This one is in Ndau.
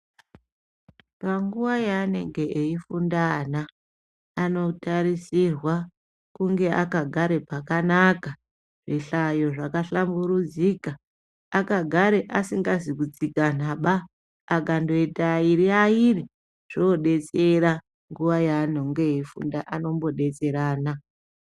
Panguya yaanenge eifunda ana anotarisirwa kunge akagare pakanaka zvihlayo zvakahlamburudzika akagare asikazi kutsikanaba akandoita airi airi zvinodetsera nguwa yaanenge eifunda anombo detserana.